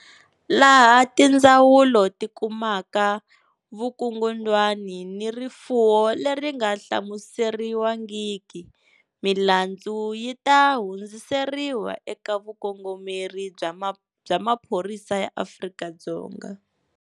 Laha tindzawulo ti kumaka vukungundwani ni rifuwo leri nga hlamuseriwangiki, milandzu yi ta hundziseriwa eka Vukongomeri bya Maphorisa ya Afrika-Dzonga.